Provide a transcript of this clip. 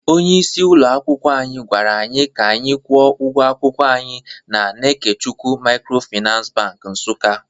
Onye isi ụlọ akwụkwọ anyị gwara anyị ka anyị kwụọ ụgwọ akwụkwọ anyị na Kenechukwu Microfinance bank Nsukka